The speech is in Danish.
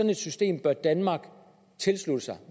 et system bør danmark tilslutte sig